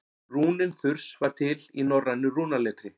rúnin þurs var til í norrænu rúnaletri